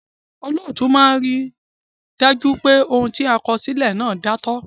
Olóòtú a máa rí dájú pé òun ti a kọ sílè náà dántọ́